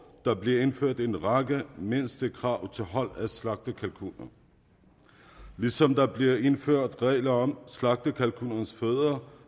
der bliver indført en række mindstekrav til hold af slagtekalkuner ligesom der bliver indført regler om slagtekalkuners foder